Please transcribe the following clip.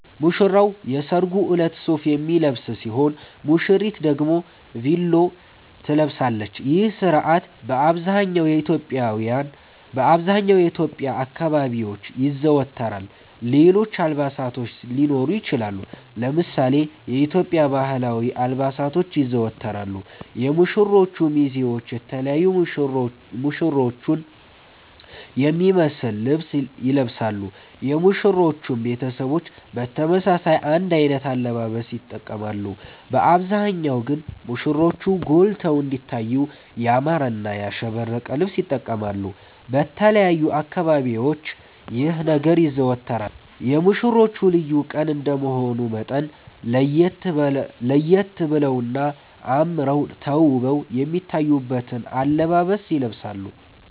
ሙሽራዉ የሰርጉ እለት ሱፍ የሚለብስ ሲሆን ሙሽሪት ደግሞ ቬሎ ትለብሳለች ይህ ስርአት በአብዘሃኛዉ የኢትዮዽያ አካባቢዎች ይዘወተራል ሌሎች አልባሳቶች ሊኖሩ ይችላሉ። ለምሳሌ የኢትዮዽያ ባህላዊ አልባሳቶች ይዘወተራሉ የሙሽሮቹ ሚዜዎች የተለያዩ ሙሽሮቹን የሚመሰል ልብስ ይለብሳሉ የሙሽሮቹም ቤተሰቦች በተመሳሳይ አንድ አይነት አለባበስ ይተቀማሉ በአብዛሃኛዉ ግን ሙሽሮቹ ጎልተዉ እንዲታዩ ያማረና ያሸበረቀ ልብስ ይተቀማሉ። በተለያዩ አካባቢዎች ይህ ነገር ይዘወተራል የሙሽሮቹ ልዩ ቀን እንደመሆኑ መጠን ለየት በለዉና አመረዉ ተዉበዉ የሚታዩበትን አለባበስ ይለብሳሉ